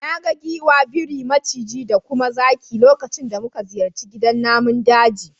Na ga giwa, biri, maciji da kuma zaki lokacin da muka ziyarci gidan namun daji.